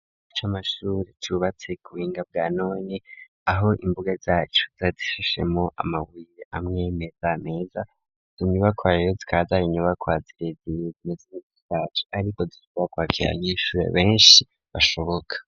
Ikigo c'amashure cubatse ku buhinga bwa none aho imbuga zacu zishashemwo amabuye amwe meza meza tumiba kwariro twadari nubakwa zirezire neza ryacu ariko dushobora kwakira n'ishure benshi bashoboka.